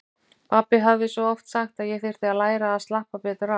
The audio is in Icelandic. Pabbi hafði svo oft sagt að ég þyrfti að læra að slappa betur af.